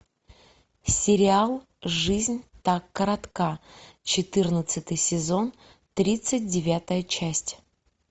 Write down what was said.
сериал жизнь так коротка четырнадцатый сезон тридцать девятая часть